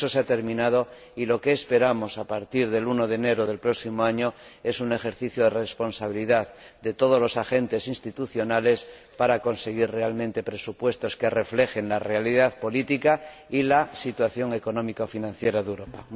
Eso se ha terminado y lo que esperamos a partir del 1 de enero del próximo año es un ejercicio de responsabilidad de todos los agentes institucionales para conseguir realmente presupuestos que reflejen la realidad política y la situación económica y financiera de Europa.